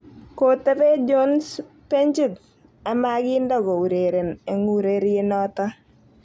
Kotebee jones benchit a makiinde ko ureren eng urerienoto